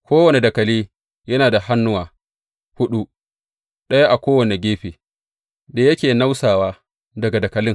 Kowane dakali yana da hannuwa huɗu, ɗaya a kowane gefe, da yake nausawa daga dakalin.